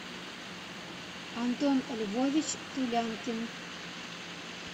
антон львович тулянкин